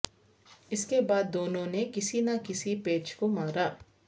اس کے بعد دونوں نے کسی نہ کسی پیچ کو مارا